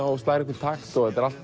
og slær einhvern takt